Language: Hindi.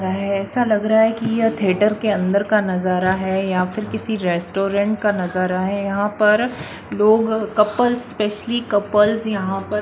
ऐसा लग रहा है कि यह थिएटर के अंदर का नजारा है या फिर किसी रेस्टोरेंट का नजारा है यहां पर लोग कपल्स स्पेशली कपल्स यहां पर--